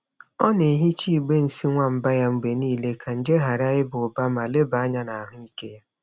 Ọ na-ehicha igbe nsị nwamba ya mgbe niile ka nje ghara ịba ụba ma leba anya na ahụike ya.